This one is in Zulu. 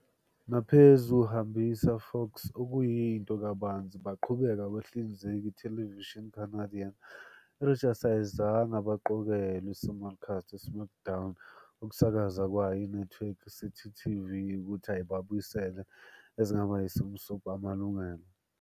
Naphezu hambisa Fox, okuyinto kabanzi baqhubeka abahlinzeki ithelevishini Canadian, Rogers ayizange abaqokelwe simulcast "SmackDown" ku ukusakaza yayo inethiwekhi Citytv ukuthi abuyisele ezingaba simsub amalungelo.